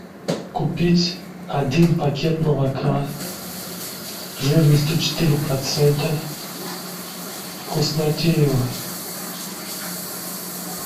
купить один пакет молока жирностью четыре процента вкуснотеево